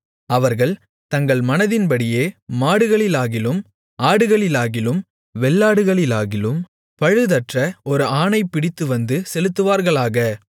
அவர்கள் தங்கள் மனதின்படியே மாடுகளிலாகிலும் ஆடுகளிலாகிலும் வெள்ளாடுகளிலாகிலும் பழுதற்ற ஒரு ஆணைப் பிடித்துவந்து செலுத்துவார்களாக